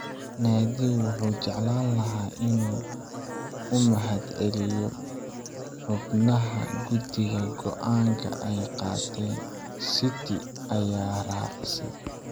"Naadigu wuxuu jeclaan lahaa inuu u mahadceliyo xubnaha guddiga go'aanka ay qaateen," City ayaa raacisay.